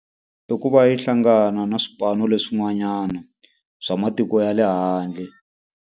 I ku va yi hlangana na swipano leswi n'wanyana swa matiko ya le handle.